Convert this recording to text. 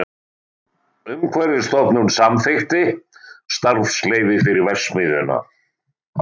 Umhverfisstofnun samþykkt starfsleyfi fyrir verksmiðjuna